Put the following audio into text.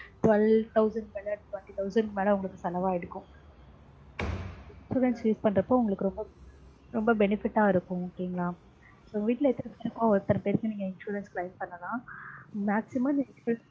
twelve thousand க்கு மேல twenty thousand க்கு மேல உங்களுக்கு செலவாயிருக்கும். insurance use பண்றப்போ உங்களுக்கு ரொம்பொ ரொம்ப benefit டா இருக்கும் okay ங்களா. உங்க வீட்ல எத்தன பேர் ஒருத்தர்க்கு நீங்க insurance claim பண்ணிங்கன்னா maximum